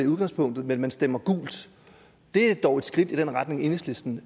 udgangspunktet men man stemmer gult og det er dog et skridt i den retning enhedslisten